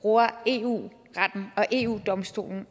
bruger eu retten og eu domstolen